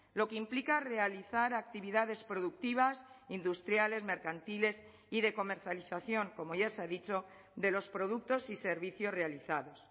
lo que implica realizar actividades productivas industriales mercantiles y de comercialización como ya se ha dicho de los productos y servicios realizados